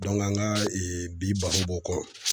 an ka bi baro b'o kɔ.